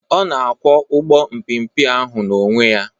Ọ na-akwọ ụgbọ epeepe ahụ n'onwe ya